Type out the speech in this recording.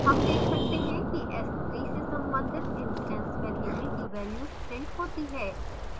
हम देख सकते हैं कि s3 से संबंधित instance variables की values printed होती हैं